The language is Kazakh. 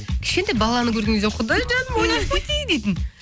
кішкентай баланы көрген кезде құдай жаным ути пути дейтін